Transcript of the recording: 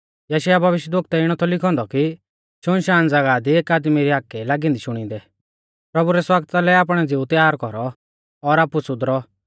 यशायाह भविष्यवक्तै इणौ थौ लिखौ औन्दौ कि शुनशान ज़ागाह दी एक आदमी री हाकै ई लागी औन्दी शुणिदै प्रभु कालै आशणा लै बाट त्यार कौरौ ज़ो बिल्कुल साफ और सिधी आ